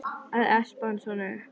Að espa hann svona upp!